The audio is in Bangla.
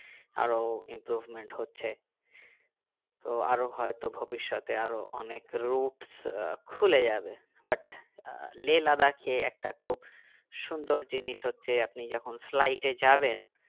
আরো improvement হচ্ছে তো আরো হয়তো ভবিষতে আরো অনেক roots আহ খুলে যাবে but আহ লে লাদাখ এ একটা খুব সুন্দর জিনিস হচ্ছে আপনি যখন flight এ যাবেন